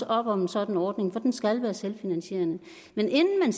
op om en sådan ordning for den skal være selvfinansierende men inden